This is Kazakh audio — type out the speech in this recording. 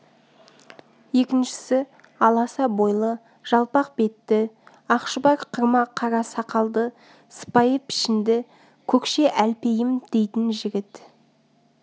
екіншісі аласа бойлы жалпақ бетті ақшұбар қырма қара сақалды сыпайы пішінді көкше әлпейім дейтін жігіт